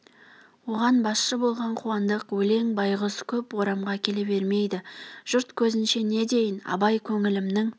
оған басшы болған қуандық өлең байғұс көп орамға келе бермейді жұрт көзінше не дейін абай көңілімнің